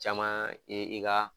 Caman i i ka.